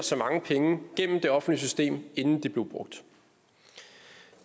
så mange penge gennem det offentlige system inden de blev brugt